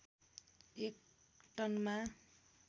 एक टनमा